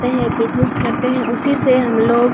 करते हैं बिज़नेस करते हैं उसी से हमलोग --